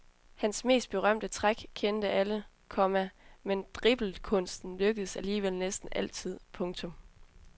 Hans mest berømte trick kendte alle, komma men driblekunsten lykkedes alligevel næsten altid. punktum